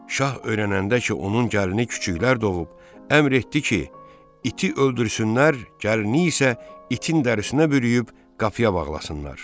Şah öyrənəndə ki, onun gəlini küçüklər doğub, əmr etdi ki, iti öldürsünlər, gəlini isə itin dərisinə bürüyüb qapıya bağlasınlar.